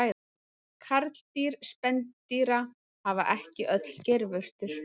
Karldýr spendýra hafa ekki öll geirvörtur.